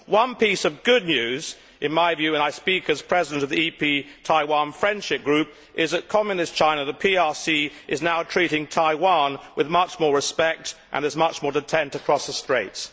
Once piece of good news in my view and I speak as President of the EP Taiwan Friendship Group is that communist China, the PRC, is now treating Taiwan with much more respect and there is much more detente across the straits.